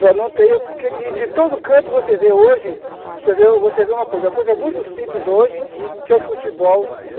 Para não ter, e de todo canto você vê hoje, você vê você vê uma coisa, uma coisa muito simples hoje, que é o futebol.